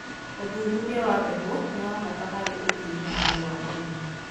Ũthũthũrĩa wa mbegũ nĩwa bata harĩ ũthĩĩ nambere wa ũrĩmĩ